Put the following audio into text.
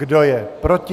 Kdo je proti?